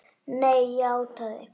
Nei, játaði